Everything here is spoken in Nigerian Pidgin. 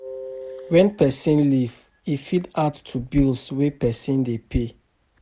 When person leave tap open, e fit add to bill wey person dey pay